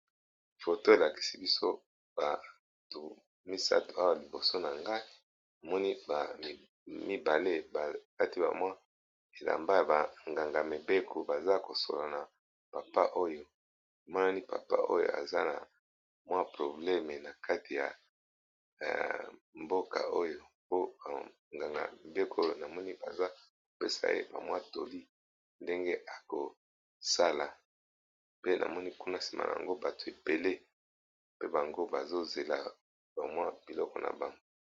Foto elakisi biso bato misatu awa liboso na ngai, namoni mibale kati bamwa elamba ya banganga mibeko baza kosola na papa, oyo monani papa oyo aza na mwa probleme na kati ya mboka oyo. Po banganga mibeko namoni baza kopesa ye bamwa toli ndenge ekosala pe, namoni kuna nsima yango bato ebele mpe bango bazozela bamwa biloko na bango.